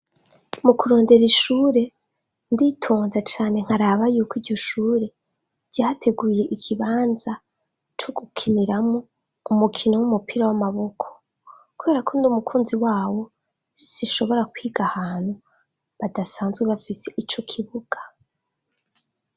Mu kurondera ishure, nditonda cane nkaraba yuko iryo shure ryateguye ikibanza co gukiniramwo umukino w'umupira w'amaboko, kubera ko ndi umukunzi wawo sinshobora kwiga ahantu badasanzwe bafise ico kibuga.